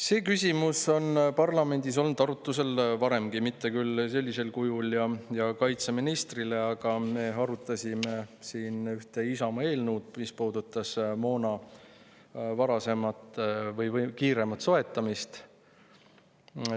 See küsimus on parlamendis olnud arutusel varemgi, mitte küll sellisel kujul ja kaitseministrile, aga me arutasime siin ühte Isamaa eelnõu, mis puudutas moona kiiremat soetamist.